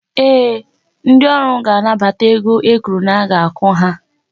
Ee, ndị ọrụ ga-anabata ego e kwuru na-aga akwụ ha.